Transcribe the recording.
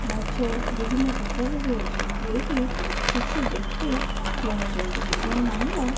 ମାଛ ବିଭିନ୍ନ ପ୍ରକାରର ଅଛି ଏଇଠି କିଛି ବ୍ୟକ୍ତି କିଣୁଚନ୍ତି ଜଣେ ମହିଳା --